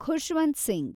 Khushwant Singh